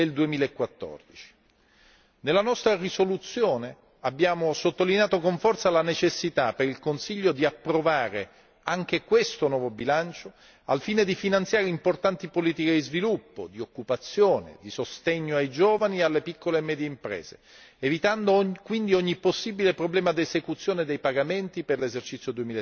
2014. Nella nostra risoluzione abbiamo sottolineato con forza la necessità per il Consiglio di approvare anche questo nuovo bilancio al fine di finanziare importanti politiche di sviluppo, di occupazione, di sostegno ai giovani e alle piccole e medie imprese, evitando quindi ogni possibile problema d'esecuzione dei pagamenti per l'esercizio